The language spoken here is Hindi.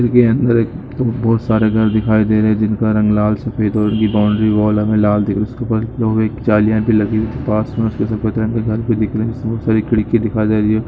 इसके अंदर एक बहुत सारे घर दिखाई दे रहे हैं जिनका रंग लाल सफेद और यह बाउन्ड्री वॉल हमें लाल दिखे उसके ऊपर की और जालिया भी लगी है उसके पास में उसमे बहुत सारी खिड़कियां दिखाई दे रही है।